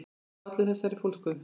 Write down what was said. Hvað olli þessari fólsku?